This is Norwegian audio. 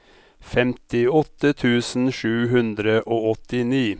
femtiåtte tusen sju hundre og åttini